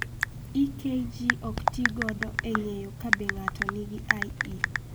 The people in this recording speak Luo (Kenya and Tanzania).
EKG ok tigodo e ng�eyo ka be ng�ato nigi IE.